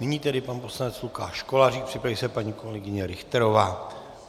Nyní tedy pan poslanec Lukáš Kolářík, připraví se paní kolegyně Richterová.